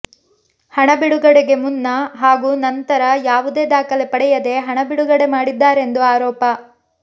ಹಣ ಬಿಡುಗಡೆಗೆ ಮುನ್ನ ಹಾಗೂ ನಂತರ ಯಾವುದೇ ದಾಖಲೆ ಪಡೆಯದೇ ಹಣ ಬಿಡುಗಡೆ ಮಾಡಿದ್ದಾರೆಂದು ಆರೋಪ